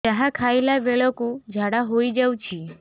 ଯାହା ଖାଇଲା ବେଳକୁ ଝାଡ଼ା ହୋଇ ଯାଉଛି